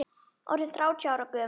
Orðinn þrjátíu ára gömul.